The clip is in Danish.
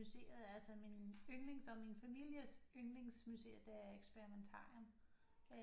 Museet altså min yndlings og min families yndlingsmuseet det er Experimentarium